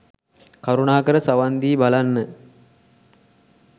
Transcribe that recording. කරුණාකර සවන් දී බලන්න